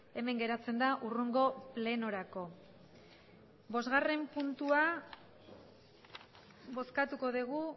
hemen geratzen da hurrengo plenorako bosgarren puntua bozkatuko dugu